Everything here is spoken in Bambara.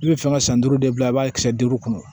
I bɛ fɛ ka san duuru de bila i b'a kisɛ duuru kɔnɔ